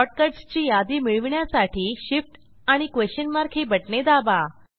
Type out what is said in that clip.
shortcuts ची यादी मिळवण्यासाठी Shift आणि क्वेशन मार्क ही बटणे दाबा